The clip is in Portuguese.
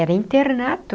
Era internato.